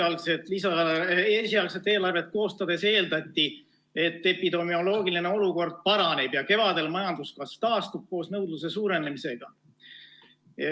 Eelmise aasta sügisel esialgset eelarvet koostades eeldati, et epidemioloogiline olukord paraneb ja kevadel majanduskasv taastub koos nõudluse suurenemisega.